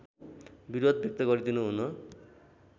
विरोध व्यक्त गरिदिनुहुन